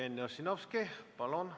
Jevgeni Ossinovski, palun!